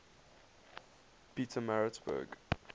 pietermaritzburg